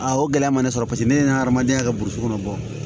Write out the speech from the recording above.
o gɛlɛya ma ne sɔrɔ paseke ne ye hadamadenya kɛ burusi kɔnɔ